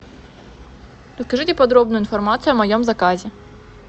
покажите подробную информацию о моем заказе